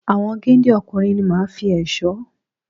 Àwọn géńdé ọkùnrin ni màá fi ẹ̀ṣọ́